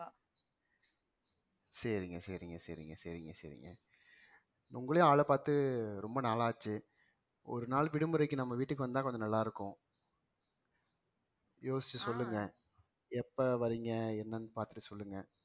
சரிங்க சரிங்க சரிங்க சரிங்க சரிங்க உங்களையும் ஆளைப் பாத்து ரொம்ப நாளாச்சு ஒரு நாள் விடுமுறைக்கு நம்ம வீட்டுக்கு வந்தா கொஞ்சம் நல்லா இருக்கும் யோசிச்சு சொல்லுங்க எப்ப வரீங்க என்னன்னு பாத்துட்டு சொல்லுங்க